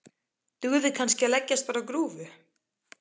Dugði kannski að leggjast bara á grúfu?